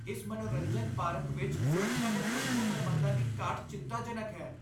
ਇਸ ਮਨੋਰੰਜਨ ਪਾਰਕ ਵਿੱਚ ਸੁਰੱਖਿਆ ਦੇ ਢੁੱਕਵੇਂ ਪ੍ਰਬੰਧਾਂ ਦੀ ਘਾਟ ਚਿੰਤਾਜਨਕ ਹੈ।